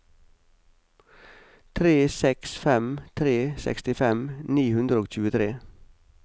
tre seks fem tre sekstifem ni hundre og tjuetre